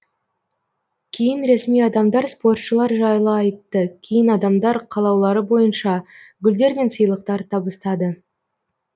кейін ресми адамдар спортшылар жайлы айтты кейін адамдар қалаулары бойынша гүлдер мен сыйлықтар табыстады